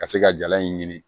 Ka se ka jala in ɲini